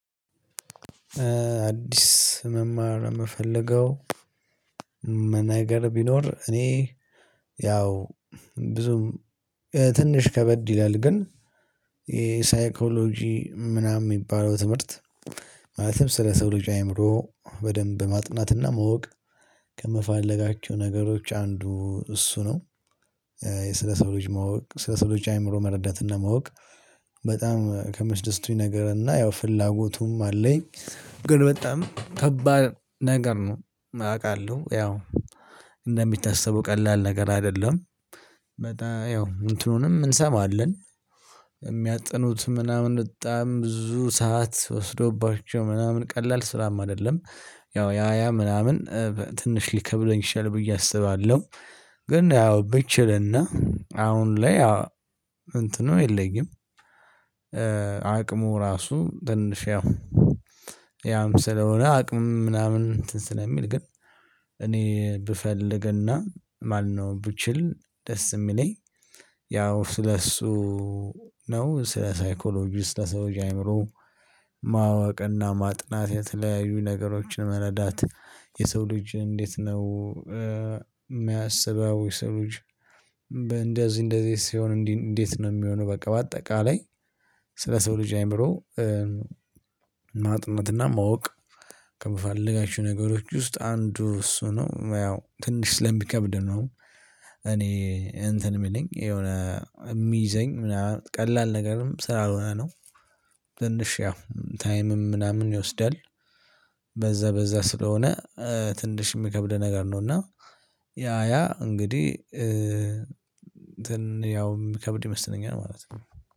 አዲስ መማር የምፈልገው መናገር ቢኖር እኔ ያው ብዙም ትንሽ ከበድ ይላል ግን የሳይኮሎጂ ምናምን የሚባለው ትምህርት ማለትም ስለ ሰው ልጅ አይምሮ በደንብ ማጥናትና ማወቅ ከምፈልጋቸው ነገሮች አንዱ እሱ ነው። የስለሰው ልጅ ማወቅ ስለሰው ሰው ልጅ አእምሮ መረዳት እና ማወቅ በጣም ከሚያስደስቱኝ ነገር እና ያው ፍላጎቱም አለኝ ግን በጣም ከባድ ነገር ነው አውቃለሁ ያው እንደሚታሰቡ ቀላል ነገር አይደለም በጣም ያው እንትኑንም እንሰማለን የሚያጠኑት ምናምን በጣም ብዙ ሰዓት ወስዶባቸው ምናምን ቀላል ስራም አይደለም ያው ያ ያ ምናምን ትንሽ ሊከብለኝ ይሻል ብዬ አስባለሁ ግን ያው ብችልና አሁን ላይ እንትኑ የለኝም አቅሙ ራሱ ትንሽ ያው ያም ስለሆነ አቅም ምናምን እንትን ስለሚል ግን እኔ ብፈልግና ማነው ብችል ደስ የሚለኝ ያው ስለእሱ ነው ስለ ሳይኮሎጂ ስለ ሰው ልጅ አይምሮ ማወቅና ማጥናት የተለያዩ ነገሮችን መረዳት የሰው ልጅ እንዴት ነው የሚያስበው? የሰው ልጅ እንደዚህ እንደዚህ ሲሆን እንዴት ነው የሚሆነው? በቃ በአጠቃላይ ስለ ሰው ልጅ አይምሮ ማጥናትና ማወቅ ከምፈለጋቸው ነገሮች ውስጥ አንዱ እሱ ነው ያው ትንሽ ስለሚከብድ ነው። እኔ እንትን የሚለኝ የሆነ የሚይዘኝ ምናምን ቀላል ነገርም ስላልሆነ ነው። ትንሽ ያው ታይምም ምናምን ይወስዳል። በዛ በዛ ስለሆነ ትንሽ የሚከብድ ነገር ነው። እና ያ ያ እንግዲህ እንትን ያው የሚከብድ ይመስለኛል ማለት ነው።